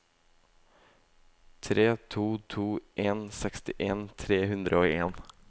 tre to to en sekstien tre hundre og en